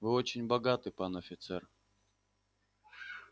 вы очень богаты пан офицер